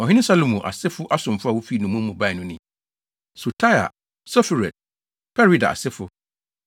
Ɔhene Salomo asefo asomfo a wofi nnommum mu bae no ni: 1 Sotai, Soferet, Perida asefo, 1